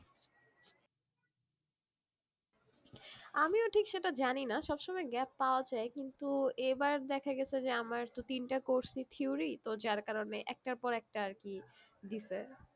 আমিও ঠিক সেটা জানি না সব সময় gap পাওয়া যায় কিন্তু এবার দেখা গেছে যে আমার তো তিনটা course ই theory তো যার কারণে একটার পর একটা আর কি দিসে